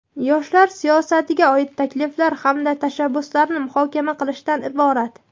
yoshlar siyosatiga oid takliflar hamda tashabbuslarni muhokama qilishdan iborat.